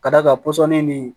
Ka d'a kan pɔsɔni ni